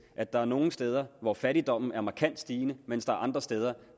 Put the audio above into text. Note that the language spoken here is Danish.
at der er nogle steder hvor fattigdommen er markant stigende mens der er andre steder